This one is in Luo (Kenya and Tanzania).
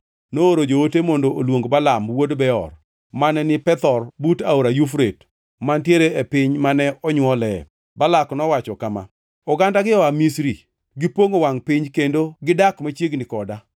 nooro joote mondo oluong Balaam wuod Beor, mane ni Pethor but Aora Yufrate, mantiere e piny mane onywole. Balak nowacho kama: “Ogandagi oa Misri; gipongʼo wangʼ piny kendo gidak machiegni koda.